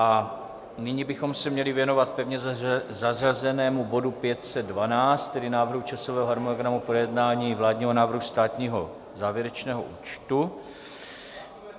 A nyní bychom se měli věnovat pevně zařazenému bodu 512, tedy Návrhu časového harmonogramu projednání vládního návrhu státního závěrečného účtu.